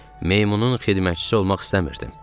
Meymunun xidmətçisi olmaq istəmirdim.